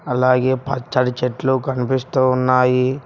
అలాగే పచ్చడి చెట్లు కనిపిస్తూ ఉన్నాయి.